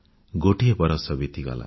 ଗୋଟିଏ ବରଷ ବିତିଗଲା